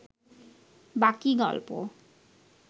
বাকী গল্প